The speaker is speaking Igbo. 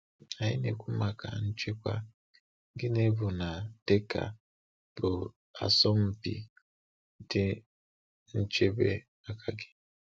Anyị na-ekwu maka nchekwa, gịnị bụ na Dakar bụ asọmpi dị nchebe maka gị?